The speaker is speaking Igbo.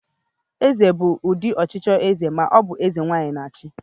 Eze bụ ụdị ọchịchị eze ma ọ bụ eze nwaanyị na-achị.